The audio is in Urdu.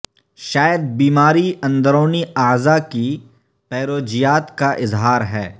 شاید بیماری اندرونی اعضاء کی پیروجیات کا اظہار ہے